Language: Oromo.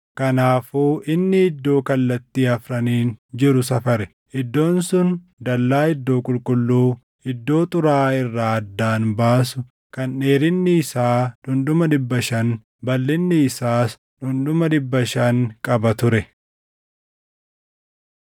Kanaafuu inni iddoo kallattii afraniin jiru safare. Iddoon sun dallaa iddoo qulqulluu, iddoo xuraaʼaa irraa addaan baasu kan dheerinni isaa dhundhuma dhibba shan, balʼinni isaas dhundhuma dhibba shan qaba ture.